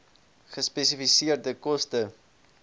gespesifiseerde koste